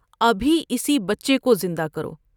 ابھی اسی بچے کو زندہ کرو ۔